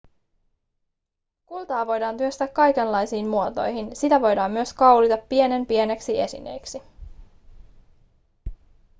kultaa voidaan työstää kaikenlaisiin muotoihin sitä voidaan myös kaulita pienenpieniksi esineiksi